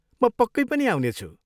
म पक्कै पनि आउनेछु।